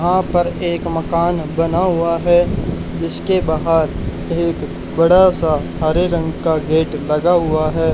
वहां पर पर एक मकान बना हुआ है जिसके बाहर एक बड़ा सा हरे रंग का गेट लगा हुआ है।